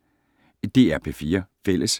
DR P4 Fælles